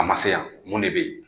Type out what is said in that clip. A ma se yan mun de bɛ yen